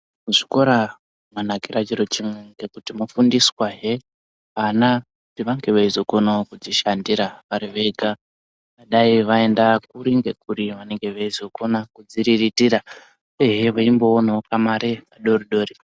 Zvikora zvakanakire chiro chimwe undiswahe ana anenge okonawo kuzvishandira vari vega dai vaenda kuri nekuri vanenge veizokona kuzviririritira ehe veimboonawo kamari kadoridori.